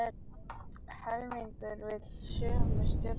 Helmingur vill sömu stjórnarflokka